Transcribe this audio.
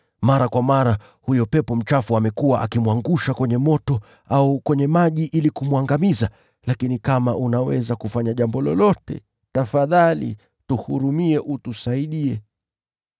Mara kwa mara huyo pepo mchafu amekuwa akimwangusha kwenye moto au kwenye maji ili kumwangamiza. Lakini kama unaweza kufanya jambo lolote, tafadhali tuhurumie utusaidie.”